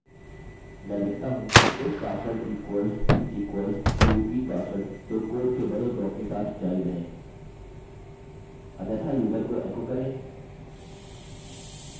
अब username और fullname के अक्षर की लम्बाई को जाँचने के लिए अतः check char length of username and fullname